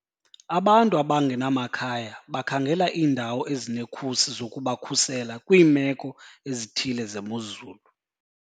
Abantu abangenamakhaya bakhangela iindawo ezinekhusi zokubakhusela kwiimeko ezithile zemozulu.